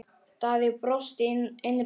Daði brosti innra með sér.